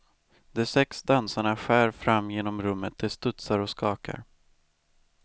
De sex dansarna skär fram genom rummet, de studsar och skakar.